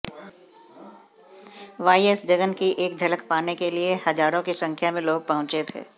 YS Jagan की एक झलक पाने के लिए हजारों की संख्या में लोग पहुंचे थे